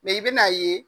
i bɛn'a ye